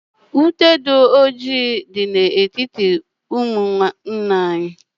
Ute dị ọjị dị na etiti roomu nna anyị